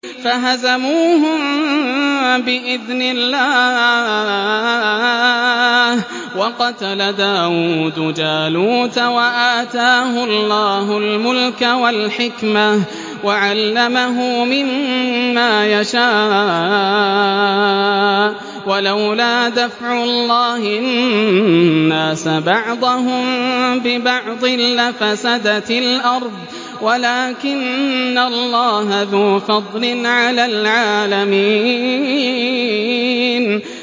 فَهَزَمُوهُم بِإِذْنِ اللَّهِ وَقَتَلَ دَاوُودُ جَالُوتَ وَآتَاهُ اللَّهُ الْمُلْكَ وَالْحِكْمَةَ وَعَلَّمَهُ مِمَّا يَشَاءُ ۗ وَلَوْلَا دَفْعُ اللَّهِ النَّاسَ بَعْضَهُم بِبَعْضٍ لَّفَسَدَتِ الْأَرْضُ وَلَٰكِنَّ اللَّهَ ذُو فَضْلٍ عَلَى الْعَالَمِينَ